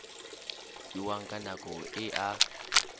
fiwang ka nako e a